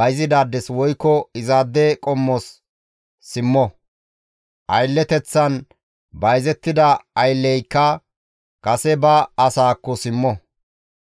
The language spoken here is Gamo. bayzidaades woykko izaade qommos simmo; aylleteththan bayzettida aylleyka kase ba asaakko simmo.